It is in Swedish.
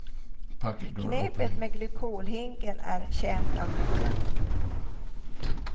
Knepet med glykolhinken är känt av många.